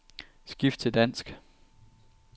Skift til dansk.